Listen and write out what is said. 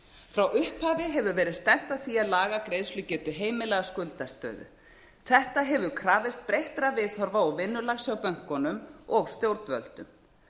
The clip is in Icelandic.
frá upphafi hefur verið stefnt að því að laga greiðslugetu heimila að skuldastöðu þetta hefur krafist breyttra viðhorfa og vinnulags hjá bönkunum og stjórnvöldum